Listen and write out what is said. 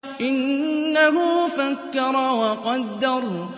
إِنَّهُ فَكَّرَ وَقَدَّرَ